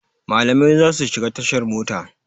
Malamai za su shiga tashar mota.